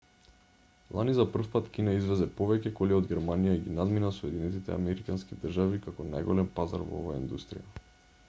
лани за прв пат кина извезе повеќе коли од германија и ги надмина соединетите американски држави како најголем пазар во оваа индустрија